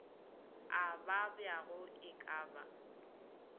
a babjago e ka ba